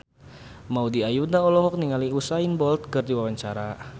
Maudy Ayunda olohok ningali Usain Bolt keur diwawancara